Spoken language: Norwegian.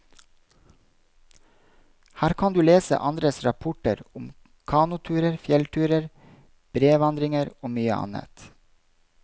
Her kan du lese andres rapporter om kanoturer, fjellturer, brevandringer og mye annet.